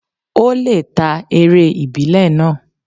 Ó lè ta eré ìbílẹ̀ náà.